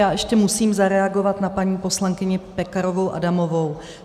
Já ještě musím zareagovat na paní poslankyni Pekarovou Adamovou.